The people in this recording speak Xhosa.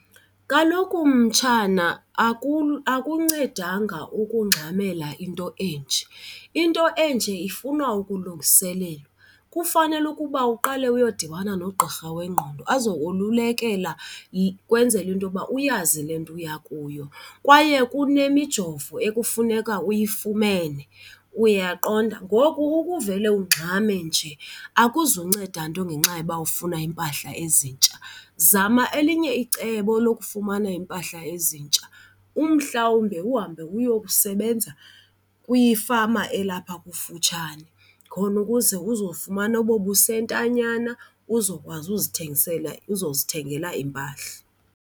Kaloku mtshana akuncedanga ukungxamela into enje, into enje ifuna ukulungiselelwa. Kufanele ukuba uqale uyodibana nogqirha wengqondo azokolulekela ukwenzela into yokuba uyazi le nto uya kuyo. Kwaye kunemijovo ekufuneka uyifumene, uyaqonda. Ngoku ukuvele ungxame nje akuzunceda nto ngenxa yokuba ufuna iimpahla ezintsha. Zama elinye icebo lokufumana iimpahla ezintsha, umhlawumbe uhambe uyokusebenza kwifama elapha kufutshane khona ukuze uzofumana obo busentanyana uzokwazi uzithengisela, uzozithengela iimpahla.